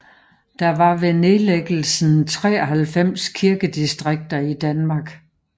Der var ved nedlæggelsen 93 kirkedistrikter i Danmark